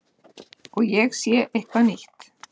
Og ég sé eitthvað nýtt.